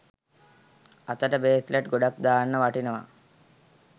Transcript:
අතට බේස්ලට් ගොඩක් දාන්න වටිනවා.